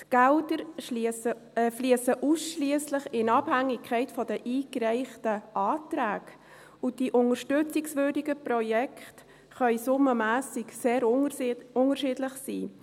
Die Gelder fliessen ausschliesslich in Abhängigkeit der eingereichten Anträge, und die unterstützungswürdigen Projekte können summenmässig sehr unterschiedlich sein.